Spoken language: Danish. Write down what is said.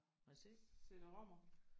Må jeg se?